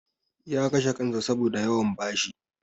Ya kashe kansa saboda yawan bashi.